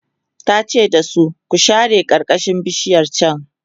tace da su "ku share karkashin bishiyar chan!"